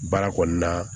Baara kɔnɔna